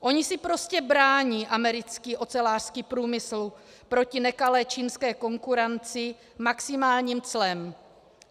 Ony si prostě brání americký ocelářský průmysl proti nekalé čínské konkurenci maximálním clem.